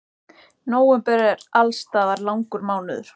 Nóvember er alls staðar langur mánuður.